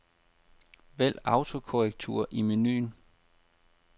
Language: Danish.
Vælg autokorrektur i menu.